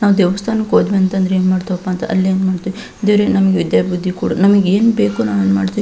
ನಾವು ದೇವಸ್ಥಾನಕ್ ಹೋದ್ವಿ ಅಂತಂದ್ರ ಅಂದ್ರೆ ಏನ್ಮಾಡ್ತೇವಪ್ಪ ಅಂತ ಅಲ್ಲಿ ಏನ್ ಮಾಡ್ತೇವೆ ದೇವ್ರೇ ನಮಗೆ ವಿದ್ಯಾ ಬುದ್ದಿ ಕೊಡು ನಮಿಗೇನ್ ಮಾಡ್ತೀವಿ --